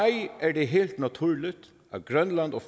er det helt naturligt at grønland og